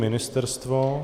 Ministerstvo?